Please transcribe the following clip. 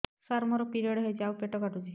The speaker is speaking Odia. ସାର ମୋର ପିରିଅଡ଼ ହେଇଚି ଆଉ ପେଟ କାଟୁଛି